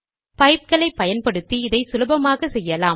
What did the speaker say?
பைப்களை பயன்படுத்தி இதை சுலபமாக செய்யலாம்